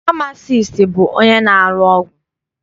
Famasiisti bụ onye na-arụ ọgwụ.